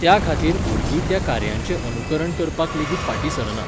त्या खातीर भुरगीं त्या कार्यांचें अनुकरण करपाक लेगीत फाटीं सरनात